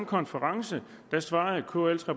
konference